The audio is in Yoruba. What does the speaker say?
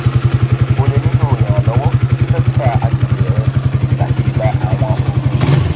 o le nilo iranlọwọ ti dokita agbegbe rẹ lati gba awọn oogun yi